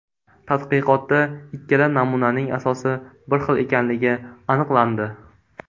Tadqiqotda ikkala namunaning asosi bir xil ekanligi aniqlandi.